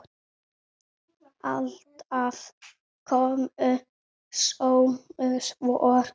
Alltaf komu sömu svör.